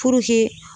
Puruke